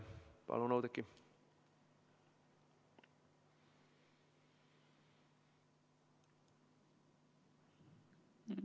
Palun, Oudekki!